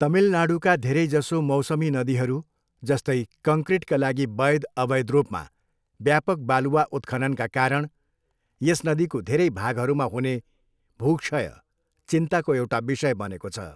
तमिलनाडूका धेरैजसो मौसमी नदीहरू जस्तै, कङ्क्रिटका लागि वैध, अवैध रूपमा व्यापक बालुवा उत्खननका कारण यस नदीको धेरै भागहरूमा हुने भूक्षय चिन्ताको एउटा विषय बनेको छ।